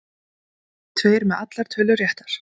Tveir með allar tölur réttar